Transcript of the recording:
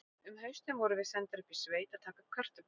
Um haustið vorum við sendar upp í sveit að taka upp kartöflur.